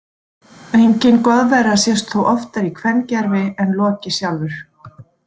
Engin goðvera sést þó oftar í kvengervi en Loki sjálfur.